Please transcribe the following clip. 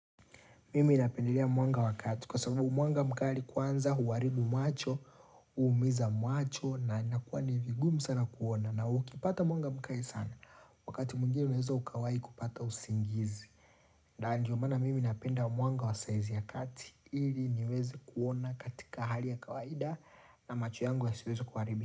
Mimi napendelea mwanga wa kati kwa sababu mwanga mkali kwanza huharibu macho, huumiza macho na inakuwa ni vigumu sana kuona na ukipata mwanga mkali sana wakati mwingine unaweza ukawaii kupata usingizi. Ndio maana mimi napenda mwanga wa saizi ya kati ili niweze kuona katika hali ya kawaida na macho yangu yasiweze kuharibika.